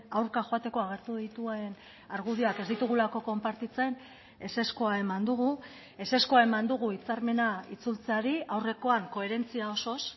aurka joateko agertu dituen argudioak ez ditugulako konpartitzen ezezkoa eman dugu ezezkoa eman dugu hitzarmena itzultzeari aurrekoan koherentzia osoz